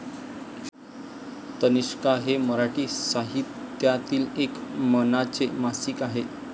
तनिष्का हे मराठी साहित्यातील एक मानाचे मासिक आहे.